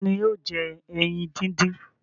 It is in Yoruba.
Ta ni yóò jẹ ẹyin dídín?